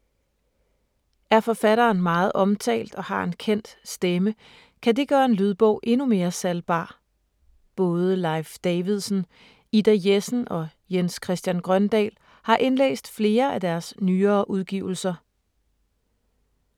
Er forfatteren meget omtalt og har en kendt stemme, kan det gøre en lydbog endnu mere salgbar. Både Leif Davidsen, Ida Jessen og Jens Christian Grøndahl har indlæst flere af deres nyere udgivelser.